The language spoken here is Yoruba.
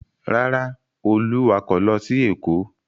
Rárá, Olú wakọ̀ lọ sí Èkó.